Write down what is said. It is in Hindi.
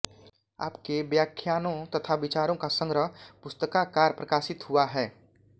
आपके व्याख्यानों तथा विचारों का संग्रह पुस्तकाकार प्रकाशित हुआ है